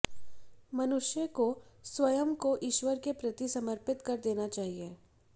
मनुष्य को स्वयं को ईश्वर के प्रति समर्पित कर देना चाहिए